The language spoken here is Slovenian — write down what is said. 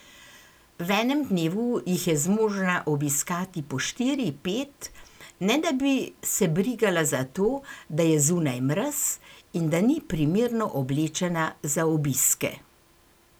V enem dnevu jih je zmožna obiskati po štiri, pet, ne da bi se brigala za to, da je zunaj mraz in da ni primerno oblečena za obiske.